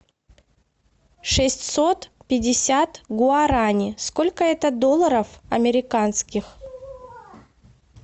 шестьсот пятьдесят гуарани сколько это долларов американских